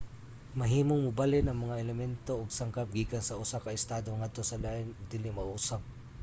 mahimong mabalhin ang mga elemento ug sangkap gikan sa usa ka estado ngadto sa lain ug dili mausab